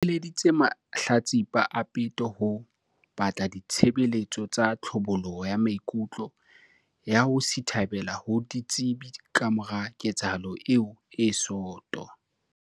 Bhembe o eleditse mahlatsipa a peto ho batla di-tshebeletso tsa tlhabollo ya maikutlo ya ho sithabela ho ditsebi kamora ketsahalo eo e soto.